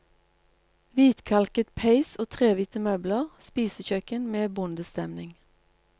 Hvitkalket peis og trehvite møbler, spisekjøkken med bondestemning.